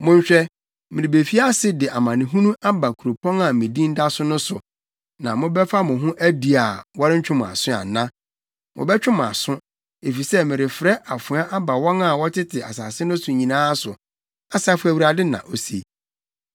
Monhwɛ, merebefi ase de amanehunu aba kuropɔn a me Din da so no so, na mobɛfa mo ho adi a wɔrentwe mo aso ana? Wɔbɛtwe mo aso, efisɛ merefrɛ afoa aba wɔn a wɔtete asase no so nyinaa so, Asafo Awurade na ose.’